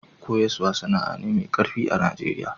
Koyaswa sana'a ne mai karfi a'Nijeriya.